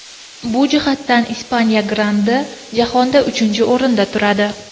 Bu jihatdan Ispaniya grandi jahonda uchinchi o‘rinda turadi.